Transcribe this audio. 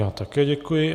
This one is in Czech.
Já také děkuji.